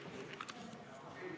Istungi lõpp kell 11.55.